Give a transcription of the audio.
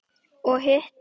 Og hitt?